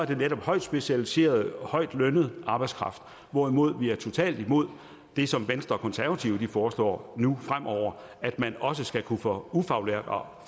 det netop højtspecialiseret højtlønnet arbejdskraft hvorimod vi er totalt imod det som venstre og konservative foreslår nu fremover at man også skal kunne få ufaglært og